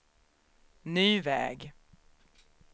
ny väg